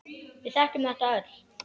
Við þekkjum þetta öll.